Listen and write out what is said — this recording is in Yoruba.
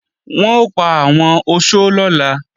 Wọn ò pa àwọn oṣó lọ́la